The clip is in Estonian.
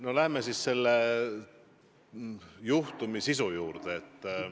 No läheme siis selle juhtumi sisu juurde.